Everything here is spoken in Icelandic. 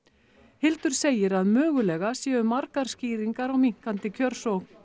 Hildur segir að mögulega séu margar skýringar á minnkandi kjörsókn